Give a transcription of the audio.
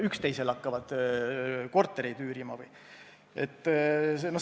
Üksteisele hakkavad kortereid üürima või?